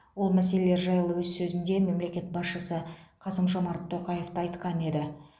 ол мәселелер жайлы өз сөзінде мемлекет басшысы қасым жомарт тоқаев та айтқан еді